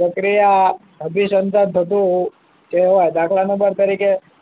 પ્રક્રિયા અભિસંધાન થતું કહેવાય દાખલા નંબર તરીકે